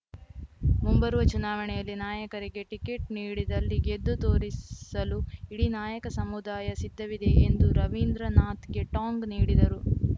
ಮುಂಬರುವ ಚುನಾವಣೆಯಲ್ಲಿ ನಾಯಕರಿಗೆ ಟಿಕೆಟ್‌ ನೀಡಿದಲ್ಲಿ ಗೆದ್ದು ತೋರಿಸಲು ಇಡೀ ನಾಯಕ ಸಮುದಾಯ ಸಿದ್ಧವಿದೆ ಎಂದು ರವೀಂದ್ರನಾಥ್‌ಗೆ ಟಾಂಗ್‌ ನೀಡಿದರು